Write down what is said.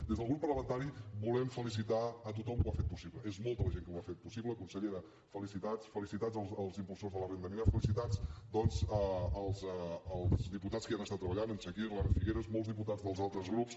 des del grup parlamentari volem felicitar a tothom que ho ha fet possible és molta la gent que ho ha fet possible consellera felicitats felicitats als impulsors de la renda mínima felicitats doncs als diputats que hi han estat treballant en chakir l’anna figueras molts diputats dels altres grups